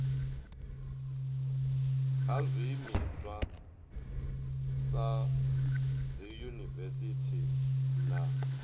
kha zwiimiswa sa dziyunivesiti na